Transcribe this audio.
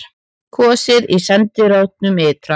Kosið í sendiráðum ytra